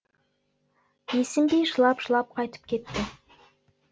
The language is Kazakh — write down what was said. есім би жылап жылап қайтып кетті